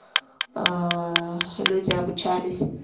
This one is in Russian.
ээ люди обучались